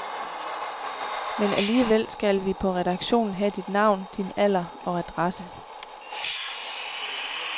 Men alligevel skal vi på redaktionen have dit navn, din alder og adresse.